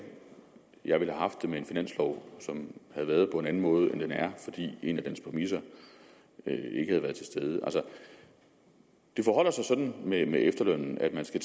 jeg ville have haft det med en finanslov som havde været på en anden måde end den er fordi en af dens præmisser ikke havde været til stede det forholder sig sådan med efterlønnen at man skal